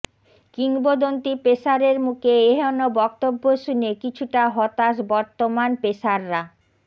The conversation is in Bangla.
কিংবদন্তী পেসারের মুকে এহেন বক্তব্য শুনে কিছুটা হতাশ বর্তমান পেসাররা